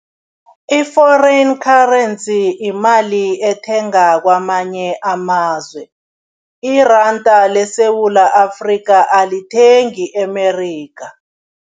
I-foreign currency imali ethenga kwamanye amazwe, iranda leSewula Afrika alithengi eMerikha.